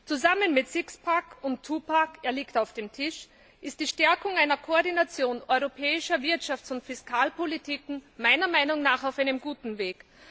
Zusammen mit Sixpack und Twopack es liegt auf dem Tisch ist die Stärkung einer Koordination europäischer Wirtschafts und Fiskalpolitiken meiner Meinung nach auf einem guten Weg.